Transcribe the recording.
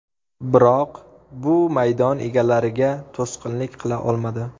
Biroq bu maydon egalariga to‘sqinlik qila olmadi.